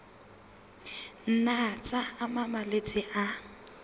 nna tsa ama malwetse a